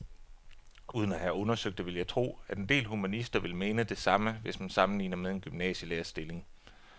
Uden at have undersøgt det vil jeg tro, at en del humanister vil mene det samme, hvis man sammenligner med en gymnasielærerstilling.